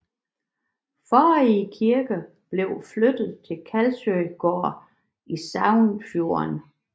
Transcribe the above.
Forrige kirke blev flyttet til Karlsøy gård i Sagfjord